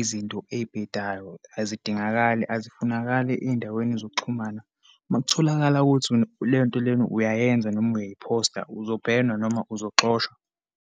izinto eyibhedayo, azikadingakali, asifunakali eyindaweni zokuxhumana. Uma kutholakala ukuthi lento lena uyayenza noma uyayiphosta, uzo-burn-wa noma uzoxoshwa.